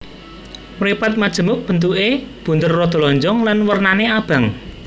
Mripat majemuk bentuké bunder rada lonjong lan wernané abang